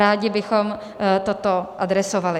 Rádi bychom toto adresovali.